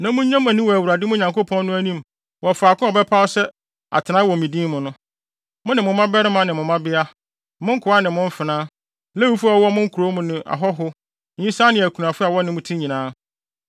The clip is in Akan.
Na munnye mo ani wɔ Awurade, mo Nyankopɔn no, anim wɔ faako a ɔbɛpaw sɛ atenae ma ne din no. Mo ne mo mmabarima ne mo mmabea, mo nkoa ne mo mfenaa, Lewifo a wɔwɔ mo nkurow mu ne ahɔho, nyisaa ne akunafo a wɔne mo te nyinaa.